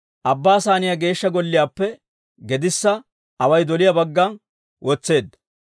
Abbaa Saaniyaa Geeshsha Golliyaappe gedissa away doliyaa bagga wotseedda.